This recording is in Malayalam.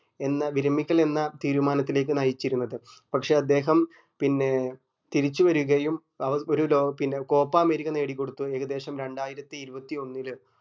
എന്ന വിരമിക്കൽ എന്ന തീരുമാനത്തിലേക്ക് നയിച്ചിരുന്നത് പക്ഷെ അദ്ദേഹം പിന്നീട് തിരിച്ച് വരുകയും അവർ ഒരു ലോക് പിന്നെ copa അമേരിക്ക നേടിക്കൊഫത്ത് ഏകദേശം രണ്ടായിരത്തി ഇരുവത്തിയൊന്നില്